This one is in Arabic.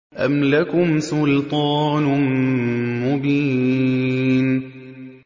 أَمْ لَكُمْ سُلْطَانٌ مُّبِينٌ